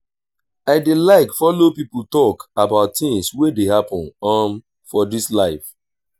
i dey like folo pipo tok about tins wey dey happen um for dis life.